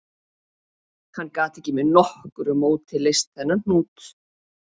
Hann gat ekki með nokkru móti leyst þennan hnút